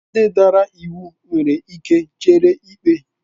Ndị dara iwu nwere ike chere ikpe.